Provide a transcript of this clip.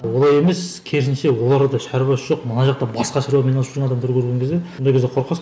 олай емес керісінше оларда да шаруасы жоқ мына жақта басқа шаруамен айналысып жүрген адамдарды көрген кезде ондай кезде қорқасың